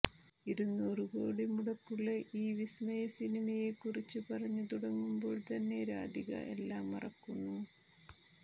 ഇരുന്നൂറു കോടി മുടക്കുളള ഈ വിസ്മയ സിനിമയെക്കുറിച്ചു പറഞ്ഞു തുടങ്ങുമ്പോൾ തന്നെ രാധിക എല്ലാം മറക്കുന്നു